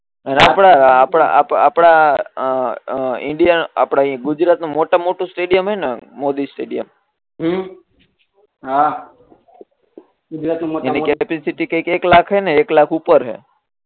આપણા આપણા આપ આપણા ઇન્ડીયા ગુજરાત નું મોટા મા મોટું સ્ટેડીયમ હે ને મોદી સ્ટેડીયમ હમ હા ગુજરાત નું મોટા મા મોટું એની કેપેસીટી કઈ એક લાખ છે ને એક લાખ ઉપર છે